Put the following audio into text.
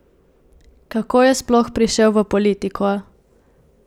Kako je sploh prišel v politiko?